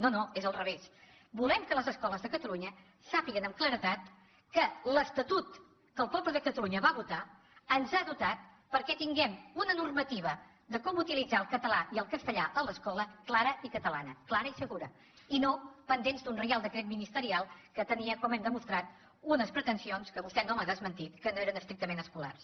no no és al revés volem que les escoles de catalunya sàpiguen amb claredat que l’estatut que el poble de catalunya va votar ens ha dotat perquè tinguem una normativa de com utilitzar el català i el castellà a l’escola clara i catalana clara i segura i no pendents d’un reial decret ministerial que tenia com hem demostrat unes pretensions que vostè no m’ha desmentit que no eren estrictament escolars